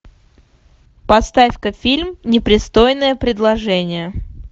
поставь ка фильм непристойное предложение